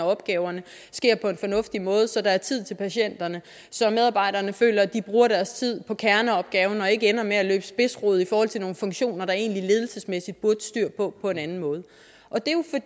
af opgaverne sker på en fornuftig måde så der er tid til patienterne så medarbejderne føler at de bruger deres tid på kerneopgaven og ikke ender med at løbe spidsrod i forhold til nogle funktioner der egentlig ledelsesmæssigt burde være styr på på en anden måde